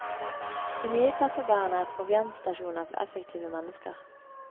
De nye kaffebarene er proviantstasjoner for effektive mennesker.